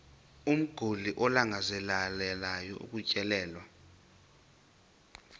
umguli alangazelelayo ukutyelelwa